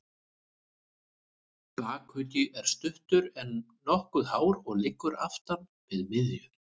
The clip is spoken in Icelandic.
Bakuggi er stuttur, en nokkuð hár og liggur aftan við miðju.